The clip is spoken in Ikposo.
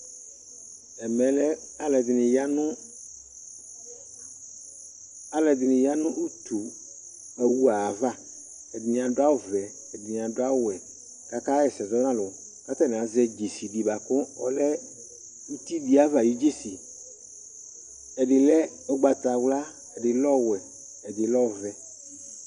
ɛmɛ lɛ alo ɛdini ya no alo ɛdini ya no utu owu ayi ava ɛdini adu awu vɛ ɛdini adu awu wɛ k'aka ɣa ɛsɛ zɔ n'alo k'atani azɛ dzesi di boa kò ɔlɛ uti di ayi ava ayi dzesi ɛdi lɛ ugbata wla ɛdi lɛ ɔwɛ ɛdi lɛ ɔvɛ